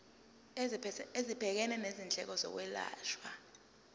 esibhekene nezindleko zokwelashwa